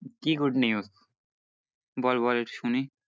কি good news বল বল শুনি।